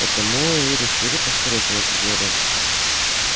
потому и решили поскорее заняться зельем